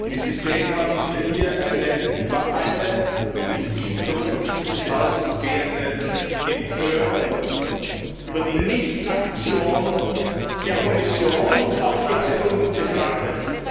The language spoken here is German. Wie Sie sehen, haben Sie hier eine über alle Fraktionen dieses Hauses gehende Empörung über die Nicht Aktion der Kommission und auch die Haltung des Rates.